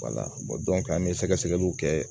an ye sɛgɛsɛgɛliw kɛ